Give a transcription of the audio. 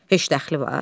Heç dəxli var?